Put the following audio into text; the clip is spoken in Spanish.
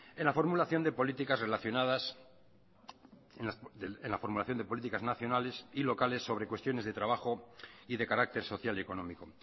en la formulación de políticas nacionales y locales sobre cuestiones de trabajo y de carácter social y económico